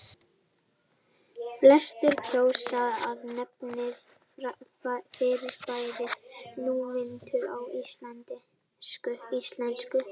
Flestir kjósa að nefna fyrirbærið núvitund á íslensku.